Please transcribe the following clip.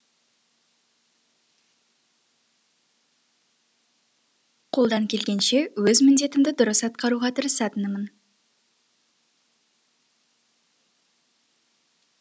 қолдан келгенше өз міндетімді дұрыс атқаруға тырысатынмын